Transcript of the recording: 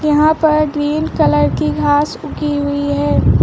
यहां पर green colour की घास उगी हुई है।